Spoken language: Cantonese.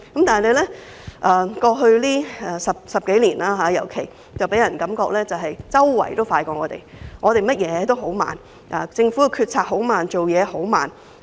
但是，過去10多年，人們總覺得周邊國家或地方辦事比香港快，香港做甚麼都很慢，政府決策很慢，做事很慢。